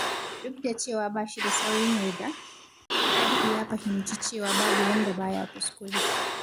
Duk da cewa ba shi da saurin yarda, Rabi’u ya fahimci cewa babu wanda ba ya kuskure.